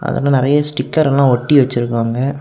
அதுல நறைய ஸ்டிக்கர்ல்லாம் ஒட்டி வச்சிருக்காங்க.